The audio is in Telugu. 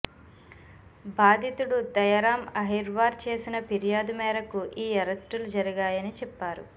బాధితుడు దయారాం అహీర్వార్ చేసిన ఫిర్యాదు మేరకు ఈ అరెస్టులు జరిగాయని చెప్పారు